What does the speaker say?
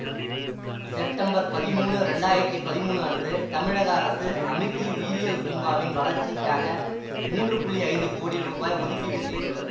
September பதிமூனு இரண்டாயிரத்தி பதிமூனு அன்று தமிழக அரசு அமிர்தி உயிரியல் பூங்காவின் வளர்ச்சிக்காக மூன்று புள்ளி ஐந்து கோடி ரூபாய் ஒதுக்கீடு செய்துள்ளது